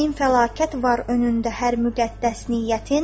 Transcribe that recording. Min fəlakət var önündə hər müqəddəs niyyətin.